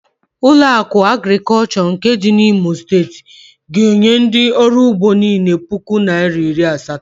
Ụlọakụ Agrịkọlshọ nke dị n'Imo Steeti ga-enye ndị ọrụugbo niile puku naịra iri asatọ.